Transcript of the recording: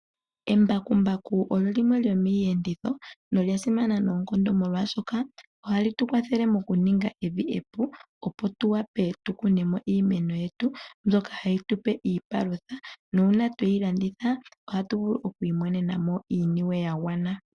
Embakumbaku olyo limwe lyomiiyenditho nolya simana noonkondo, omolwaashoka ohali tukwathele mokuninga evi epu, opo tuwape tukunemo iimeno yetu mbyoka hayi tupe iipalutha, nuuna tweyi landitha, ohatuvulu okwiimonenamo iiyemo yagwana.